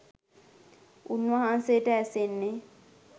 උන්වහන්සේට ඇසෙන්නේ